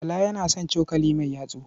Bala yana son cokali mai yatsu.